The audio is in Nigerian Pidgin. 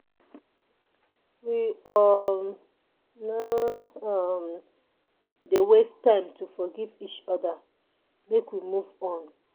We um no um dey waste time to forgive each oda make we move on.